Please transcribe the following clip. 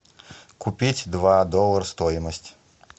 купить два доллара стоимость